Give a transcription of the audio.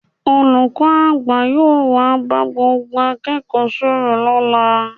Olùkọ́ àgbà yóò wá bá gbogbo akẹ́kọ̀ọ́ sọ̀rọ̀ lọ́la